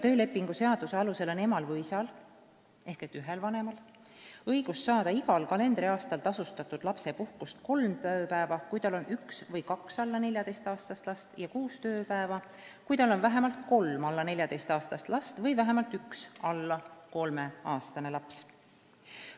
Töölepingu seaduse alusel on emal või isal ehk ühel vanemal õigus saada igal kalendriaastal tasustatud lapsepuhkust kolm tööpäeva, kui tal on üks või kaks alla 14-aastast last, ja kuus tööpäeva, kui tal on vähemalt kolm alla 14-aastast last või vähemalt üks alla 3-aastane laps.